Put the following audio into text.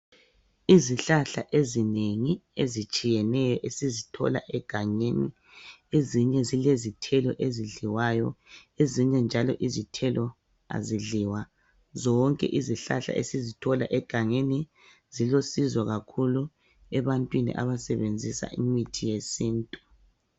Izihlahla ezinengi ezitshiyeneyo esizithola egangeni ezinye zilezithelo ezidliwayo ezinye njalo izithelo azidliwa zonke izihlahla esizithola egangeni zilusizo kakhulu ebantwini abasebenzisa imithi yesintu.